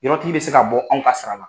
Yɔrɔtigi bɛ se k'a bɔ anw ka sara la.